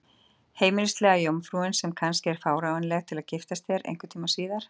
Heimilislega jómfrú, sem kannski er fáanleg til að giftast þér einhvern tíma síðar?